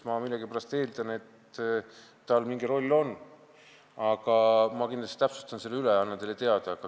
Ma millegipärast eeldan, et tal mingi roll on, aga ma kindlasti täpsustan selle üle ja annan teile teada.